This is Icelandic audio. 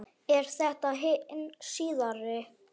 Er þetta hin síðari